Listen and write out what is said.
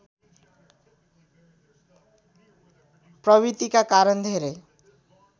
प्रवृतिका कारण धेरै